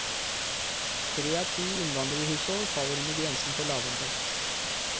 Tre av ti innvandrerhushold faller under grensen for lavinntekt.